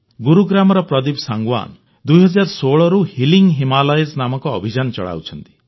ଗୁରୁଗ୍ରାମର ପ୍ରଦୀପ ସାଂଗୱାନ 2016ରୁ ହିଲିଂ ହିମାଳୟସ୍ ନାମକ ଅଭିଯାନ ଚଳାଉଛନ୍ତି